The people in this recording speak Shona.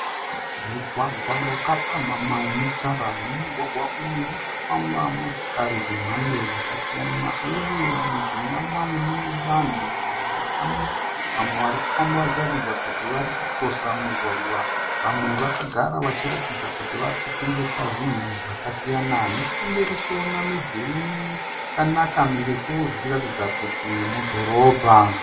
Mugwagwa wakapamhamha une tara. Mumugwagwa umu murikufamba motokari dze mhando dzakasiyana. Uye mujinga mamo mune vanhu vamwe vakamira, vamwe varikufamba vachiratidza kuti vari ku kirosa mugwagwa. Vamwe vakagara vachiratidza kuti varikutengesa zvinhu zvakasiyana. Nechekumberi toona midhuri yakanaka mirefu, zvichiratidza kuti mudhorobha.